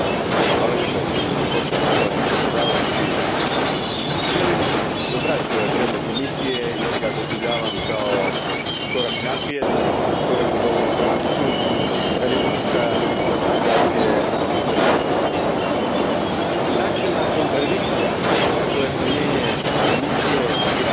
Gospodine predsjedniče, želim pozdraviti ovaj prijedlog Komisije jer ga doživljavam kao korak naprijed, korak u dobrom pravcu radi pokušaja stabilizacije tržišta. Načelna kontradikcija, a to je smanjenje emisija i rast gospodarstva,